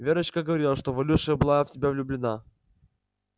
верочка говорила что валюша была в тебя влюблена